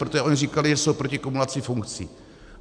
Protože oni říkali, že jsou proti kumulaci funkcí.